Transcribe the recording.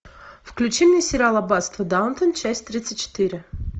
включи мне сериал аббатство даунтон часть тридцать четыре